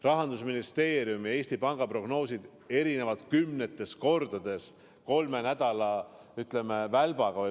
Rahandusministeeriumi ja Eesti Panga prognoosid erinevad kümnetes kordades kolme nädala vältel.